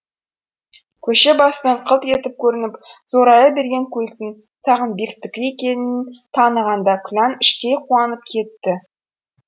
көше басынан қылт етіп көрініп зорая берген көліктің сағынбектікі екенін танығанда күлән іштей қуанып кетті